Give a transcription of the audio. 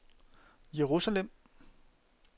Jerusalem